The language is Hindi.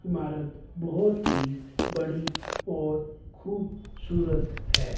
इमारत बहोत ही बड़ी और खूब सूरत है।